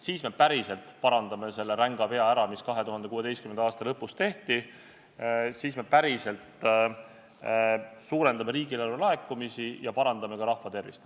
Siis me päriselt parandame ära selle ränga vea, mis 2016. aasta lõpus tehti, siis me päriselt suurendame riigieelarve laekumisi ja parandame ka rahva tervist.